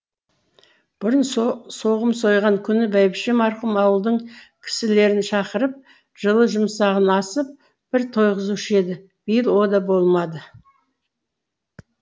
бұрын соғым сойған күні бәйбіше марқұм ауылдың кісілерін шақырып жылы жұмсағын асып бір тойғызушы еді биыл о да болмады